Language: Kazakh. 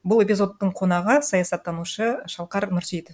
бұл эпизодтың қонағы саясаттанушы шалқар нұрсейітов